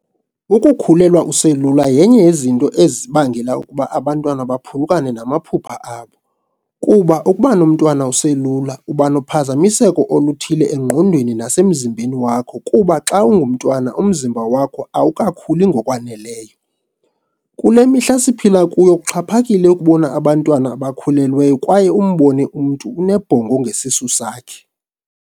Ukukhulelwa uselula yenye yezinto ezibangela uba abantwana baphulukane namaphupha abo, kuba ukubanomntwana uselula uba nophazamiseko oluthile engqondweni nasemzimbeni wakho kuba xa ungumntwana umzimba wakho awuka khuli ngokwaneleyo .Kule mihla siphila kuyo kuxhaphakile ukubona abantwana abakhulelweyo kwaye umbone umntu unebhongo ngesisu sakhe.